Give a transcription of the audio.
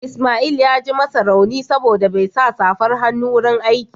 Ismail ya ji masa rauni saboda bai sa safar hannu a wurin aiki